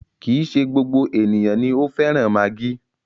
Kì í ṣe gbogbo ènìyàn ni o fẹ́ràn maggi.